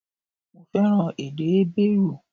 Mo fẹ́ràn èdè Hébérù